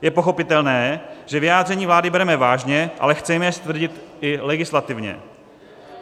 Je pochopitelné, že vyjádření vlády bereme vážně, ale chceme je stvrdit i legislativně.